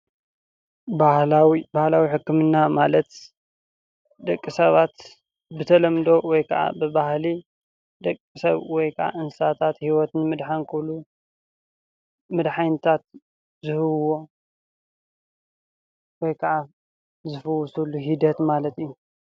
ባህላዊ ባህላዊ ሕክምና ማለት ደቂሰባት ብተለምዶ ወይ ብባህላዊ ደቂ ሰብ ወይ ከዓ እንስሳታት ሂወት ንምድሓን ክብሉ መድሓኒታት ዝህብዎ ወይ ከዓ ዝፈወሰሉ ሂደት ማለት እዩ።